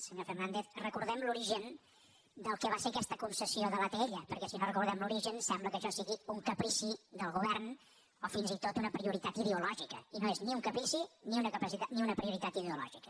senyor fernàndez recordem l’origen del que va ser aquesta concessió de l’atll perquè si no recordem l’origen sembla que això sigui un caprici del govern o fins i tot una prioritat ideològica i no és ni un caprici ni una prioritat ideològica